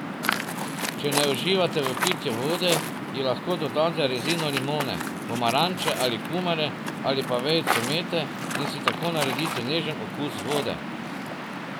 Če ne uživate v pitju vode, ji lahko dodate rezino limone, pomaranče ali kumare ali pa vejico mete in si tako naredite nežen okus vode.